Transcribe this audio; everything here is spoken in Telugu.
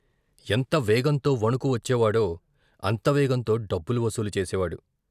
ఎంత వేగంతో వణుకు వచ్చేవాడో అంత వేగంతో డబ్బులు వసూలు చేసేవాడు.